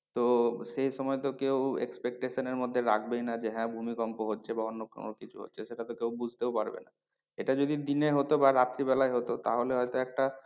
তো সেই সময় তো কেউ expectation এর মধ্যে রাখবেই না যে হ্যাঁ ভূমিকম্প হচ্ছে বা অন্য কোনো কিছু হচ্ছে। সেটা তো কেউ বুঝতেও পারবে না। এটা যদি দিনে হতো বা রাত্রিবেলায় হতো তাহলে হয়তো একটা